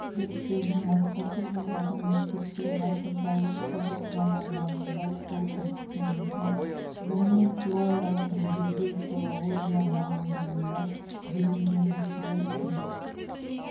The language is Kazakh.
зерттеудің мақсаты жоғары мектепте ғасырдағы қазақ романдарын оқыту әдістемесін ғылыми-теориялық негіздеу флилология мамандығында білімденушілер үшін